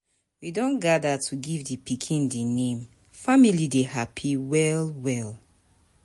We don gather to give di pikin di name, family dey happy well well.